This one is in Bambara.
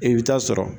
I bɛ taa sɔrɔ